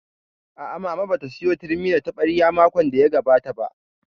A'a, Mama ba ta sayo turmi da taɓarya makon da ya gabata ba